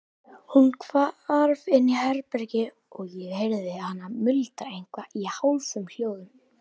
Hún hvarf inn í herbergi og ég heyrði hana muldra eitthvað í hálfum hljóðum.